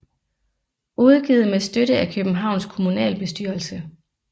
Udgivet med støtte af Københavns Kommunalbestyrelse